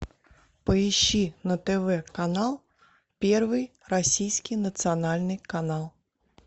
поищи на тв канал первый российский национальный канал